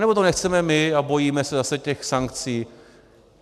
Anebo to nechceme my a bojíme se zase těch sankcí.